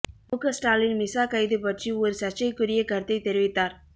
முக ஸ்டாலின் மிசா கைது பற்றி ஒரு சர்ச்சைக்குரிய கருத்தை தெரிவித்தார்